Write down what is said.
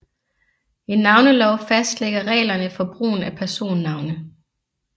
En navnelov fastlægger reglerne for brugen af personnavne